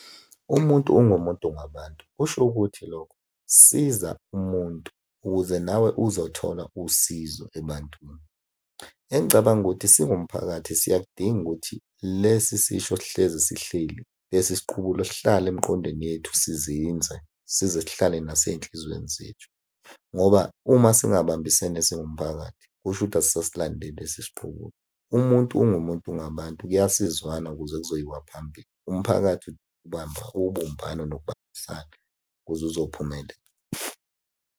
Umuntu ungumuntu ngabantu, kusho ukuthi lokho, siza umuntu ukuze nawe uzothola usizo ebantwini. Engicabanga ukuthi singumphakathi siyakudinga ukuthi lesi sisho sihlezi sihleli. Lesi siqubulo sihlale emqondweni yethu sizinze, size sihlale nasey'nhlizweni zethu, ngoba uma singabambisene singumphakathi, kusho ukuthi asisasilandeli lesi siqubulo. Umuntu ungumuntu ngabantu, kuyasizwanwa ukuze kuzoyiwa phambili. Umphakathi ubamba ubumbano nokubambisana ukuze uzophumelela.